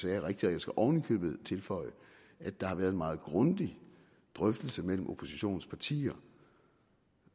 er rigtigt og jeg skal oven i købet tilføje at der har været meget grundige drøftelser mellem oppositionens partier